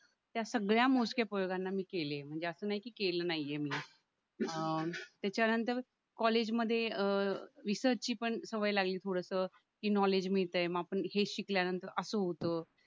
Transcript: त्या सगळ्या मोजक्या फलकांना मी केले म्हणजे असा नाहीये कि केलं नाही आहे मी अं त्याच्यानंतर कॉलेजमध्ये रिसर्चची पण सवय लागली थोडसं की नॉलेज मिळतंय म आपण हे शिकल्यानंतर असं होतं